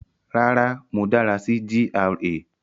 Rárá, mo dára sí GRA